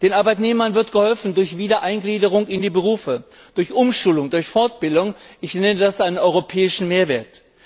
Den Arbeitnehmern wird geholfen durch Wiedereingliederung in die Berufe, durch Umschulung, durch Fortbildung ich nenne das einen europäischen Mehrwert.